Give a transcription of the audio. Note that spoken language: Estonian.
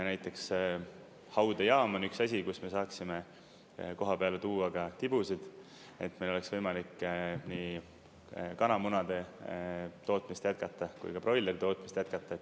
Näiteks haudejaam on üks asi, kus me saatsime koha peale tuua ka tibusid, et meil oleks võimalik nii kanamunade tootmist jätkata kui ka broileri tootmist jätkata.